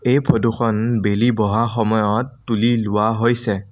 এই ফটো খন বেলি বহা সময়ত তুলি লোৱা হৈছে।